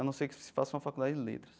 A não ser que se faça uma faculdade de letras.